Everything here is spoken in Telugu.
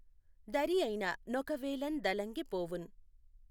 దఱియైన నొకవేళఁ దలఁగి పోవుఁ